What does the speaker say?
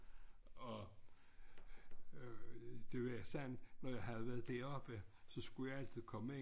Og øh det var jo sådan når jeg havde været deroppe så skulle jeg altid komme